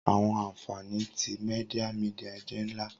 Awọn anfani ti media media jẹ nla.